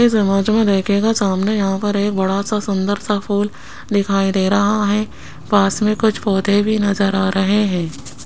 इस इमेज में देखिएगा सामने यहां पर एक बड़ा सा सुंदर सा फूल दिखाई दे रहा है पास में कुछ पौधे भी नजर आ रहे हैं।